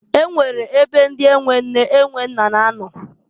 E nwere ebe ndi e nwe nne e nwe nna na-anọ.